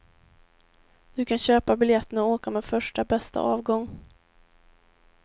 Du kan köpa biljetten och åka med första, bästa avgång.